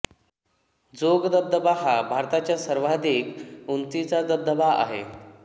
जोग धबधबा हा भारताच्या सर्वाधिक उंचीचा धबधबा आहे